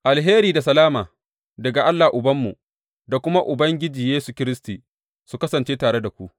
Alheri da salama daga Allah Ubanmu da kuma daga Ubangiji Yesu Kiristi, su kasance tare da ku.